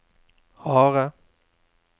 harde